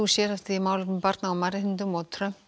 sérhæft þig í málefnum barna og mannréttindum Trump